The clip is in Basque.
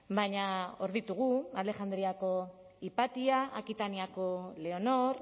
baina hor ditugu alexandriako hipatia akitaniako leonor